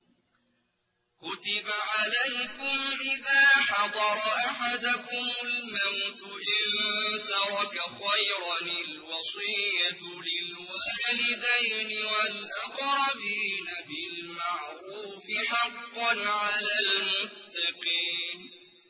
كُتِبَ عَلَيْكُمْ إِذَا حَضَرَ أَحَدَكُمُ الْمَوْتُ إِن تَرَكَ خَيْرًا الْوَصِيَّةُ لِلْوَالِدَيْنِ وَالْأَقْرَبِينَ بِالْمَعْرُوفِ ۖ حَقًّا عَلَى الْمُتَّقِينَ